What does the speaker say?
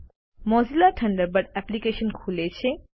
Mozilla Thunderbird application ખુલે છે